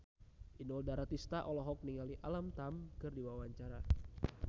Inul Daratista olohok ningali Alam Tam keur diwawancara